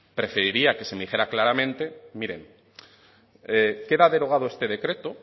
preferiría que se me dijera claramente miren queda derogado este decreto